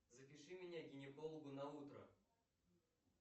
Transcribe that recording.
запиши меня к гинекологу на утро